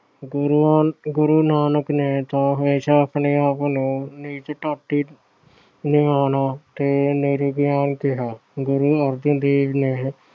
ਗੁਰੂਆਂ ਅਹ ਗੁਰੂ ਨਾਨਕ ਦੇਵ ਨੇ ਤਾਂ ਹਮੇਸ਼ਾ ਆਪਣੇ ਆਪ ਨੂੰ ਨੀਚ ਨਿਮਾਣਾ ਤੇ ਕਿਹਾ। ਗੁਰੂ ਅਰਜਨ ਦੇਵ ਨੇ